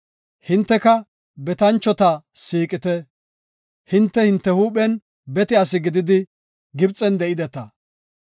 Hinteka betanchota siiqite; hinte hinte huuphen bete asi gididi Gibxen de7ideta.